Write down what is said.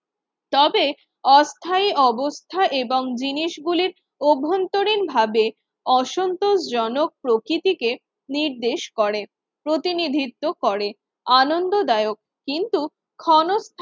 তবে অস্থায়ী অবস্থা এবং জিনিস গুলির অভ্যন্তরীণভাবে অসন্তোষজনক প্রকৃতিকে নির্দেশ করে, প্রতিনিধিত্ব করে। আনন্দদায়ক কিন্তু ক্ষণ